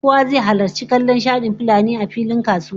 Kowa zai halarci kallon shadin fulanin a filin kasuwa